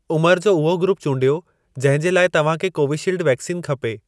उमर जो उहो ग्रूप चूंडियो जहिं जे लाइ तव्हां खे कोवीशील्ड वैक्सीन खपे।